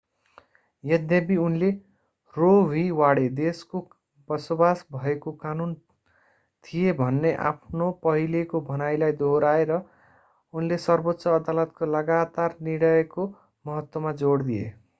यद्यपि उनले Roe v Wade roe v wade देशको बसोबास भएको कानून” थिए भन्ने आफ्नो पहिलेको भनाइलाई दोहोर्‍याए र उनले सर्वोच्च अदालतको लगातार निर्णयको महत्त्वमा जोड दिए।